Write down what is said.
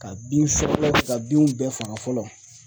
Ka bin ka binw bɛɛ faga fɔlɔ.